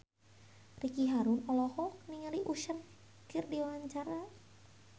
Ricky Harun olohok ningali Usher keur diwawancara